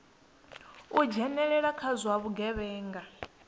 u dzhenelela kha zwa vhugevhenga